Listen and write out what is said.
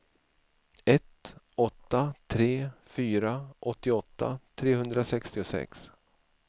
ett åtta tre fyra åttioåtta trehundrasextiosex